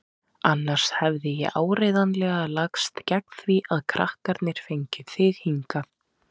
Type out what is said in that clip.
Annars hefði ég áreiðanlega lagst gegn því að krakkarnir fengju þig hingað.